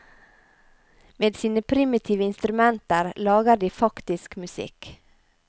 Med sine primitive instrumenter lager de faktisk musikk.